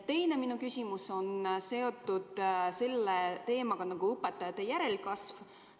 Minu teine küsimus on seotud sellise teemaga nagu õpetajate järelkasv.